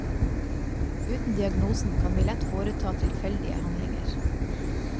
Uten diagnosen kan vi lett foreta tilfeldige handlinger.